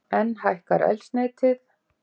Enn hækkar eldsneytið